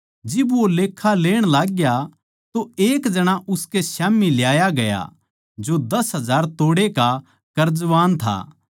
जिब वो लेक्खा लेण लाग्या तो एक जणा उसकै स्याम्ही ल्याया गया जो दस हजार तोड़े का कर्जवान था